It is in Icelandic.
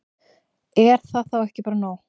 Er það þá ekki bara nóg?